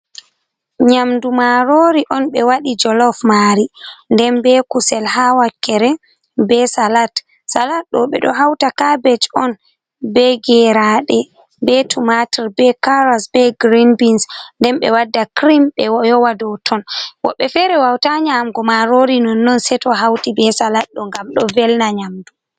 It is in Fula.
n Nyamdu marori on ɓe waɗi jolof mari, nden be kusel ha wakkere, be salat, salat ɗo ɓe ɗo hauta kabej on be gerade, be tumwater, be caras, be grinbins nden ɓe wadda crim ɓe yowa do ton, woɓɓe fere wauta nyamgo marori non non se to hauti be salat ɗo ngam do velna nyamdu.